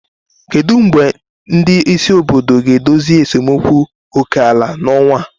Kedu mgbe ndị isi obodo ga-edozi esemokwu oke ala n'ọnwa a?